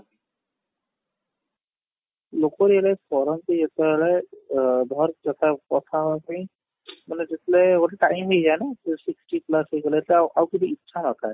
ଲୋକ realize କରନ୍ତି ଯତେ ବେଳେ ଅ ଧର କଥା ହବା ପାଇଁ ମାନେ ଯତେ ବେଳେ ଗୋଟେ time ହେଇଯାଏ ନା sixty plus ହେଇ ଗଲେ ତ ଆଉ କିଛି ଇଛା ନଥାଏ